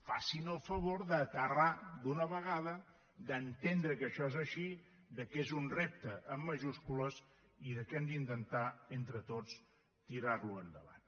facin el favor d’aterrar d’una vegada d’entendre que això és així que és un repte amb majúscules i que hem d’intentar entre tots tirarlo endavant